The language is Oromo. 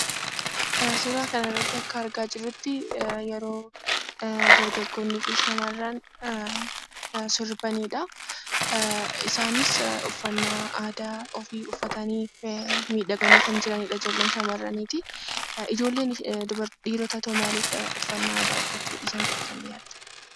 Suuraa kanarratti akka argaa jirruttii yeroo dargaggoonnii fi shamarran sirbanidhaa. Isaanis uffannaa aadaa ofii uffatanii miidhaganii kan jiranidha ijoollee shamarraniitii. Ijoolleen dhiirotaatoo maalif uffannaa aadaa uffachuu dhiisan jettanii yaaddu?